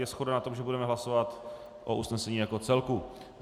Je shoda na tom, že budeme hlasovat o usnesení jako celku.